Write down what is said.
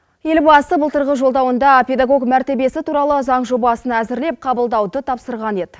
елбасы былтырғы жолдауында педагог мәртебесі туралы заң жобасын әзірлеп қабылдауды тапсырған еді